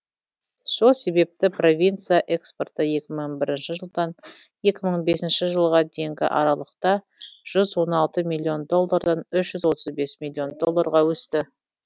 сол себепті провинция экспорты екі мың бірінші жылдан екі мың бесіеші жылға дейінгі аралықта жүз он алты миллион доллардан үш жүз отыз бес миллион долларға өсті